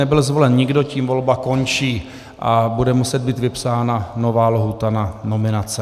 Nebyl zvolen nikdo, tím volba končí a bude muset být vypsána nová lhůta na nominace.